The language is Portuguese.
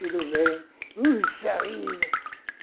Tudo bem? Puxa vida